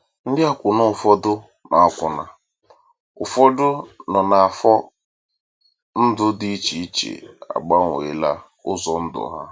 Ndị akwụna ụfọdụ nọ akwụna ụfọdụ nọ n’afọ ndụ dị iche iche agbanweela ụzọ ndụ ha.